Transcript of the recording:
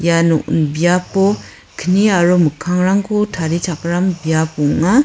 ia nokni biapo kni aro mikkangrangko tarichakram biap ong·a.